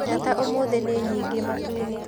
Njata ũmũthĩ nĩ nyingi matu-inĩ